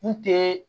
Kun te